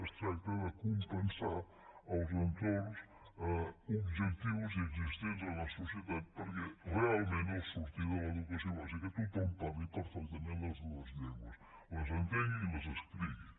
es tracta de compensar els entorns objectius i existents en la societat perquè realment al sortir de l’educació bàsica tothom parli perfectament les dues llengües les entengui i les escrigui